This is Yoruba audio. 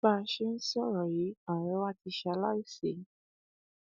bá a ṣe ń sọrọ yìí ọrẹ wa ti ṣaláìsí